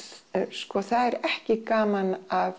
sko það er ekki gaman af